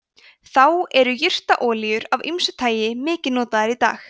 þá eru jurtaolíur af ýmsu tagi mikið notaðar í dag